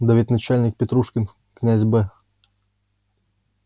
да ведь начальник петрушин князь б